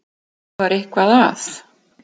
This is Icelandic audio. Það var eitthvað að.